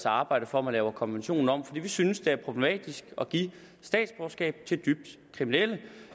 arbejde for at man laver konventionen om for vi synes at det er problematisk at give statsborgerskab til dybt kriminelle